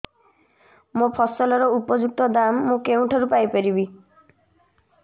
ମୋ ଫସଲର ଉପଯୁକ୍ତ ଦାମ୍ ମୁଁ କେଉଁଠାରୁ ପାଇ ପାରିବି